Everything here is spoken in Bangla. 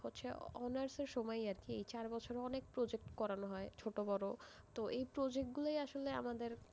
হচ্ছে honours এর সময়েই আরকি, এই চার বছরে অনেক project করানো হয়, ছোট বড়, তো এই project গুলোই আসলে আমাদের,